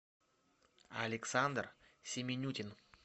александр семенютин